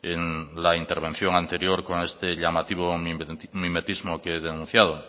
en la intervención anterior con este llamativo mimetismo que he denunciado